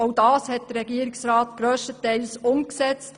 Dies hat der Regierungsrat grösstenteils umgesetzt.